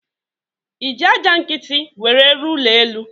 Iji aja nkiti nwere rụọ ụlọ elu?